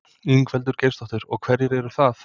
Ingveldur Geirsdóttir: Og hverjir eru það?